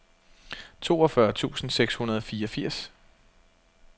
toogfyrre tusind seks hundrede og fireogfirs